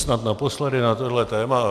Snad naposledy na toto téma.